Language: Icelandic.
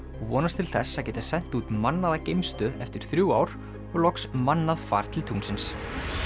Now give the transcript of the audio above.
vonast til þess að geta sent út mannaða geimstöð eftir þrjú ár og loks mannað far til tunglsins